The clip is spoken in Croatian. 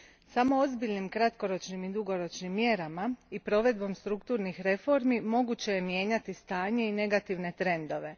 Samo ozbiljnim kratkoročnim i dugoročnim mjerama i provedbom strukturnih reformi moguće je mijenjati stanje i negativne trendove.